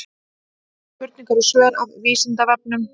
Spurningar og svör af Vísindavefnum.